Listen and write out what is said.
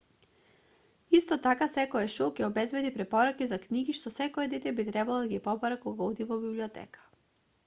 исто така секое шоу ќе обезбеди препораки за книги што секое дете би требало да ги побара кога оди во библиотека